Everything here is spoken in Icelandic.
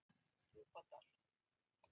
Djúpadal